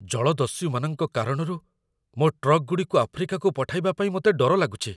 ଜଳଦସ୍ୟୁମାନଙ୍କ କାରଣରୁ ମୋ ଟ୍ରକ୍‌ଗୁଡ଼ିକୁ ଆଫ୍ରିକାକୁ ପଠାଇବା ପାଇଁ ମୋତେ ଡର ଲାଗୁଛି।